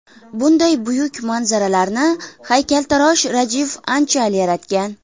Bunday buyuk manzaralarni haykaltarosh Rajiv Anchal yaratgan.